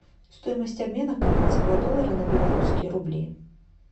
стоимость обмена канадского доллара на белорусские рубли